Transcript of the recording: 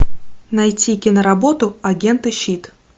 найти киноработу агенты щит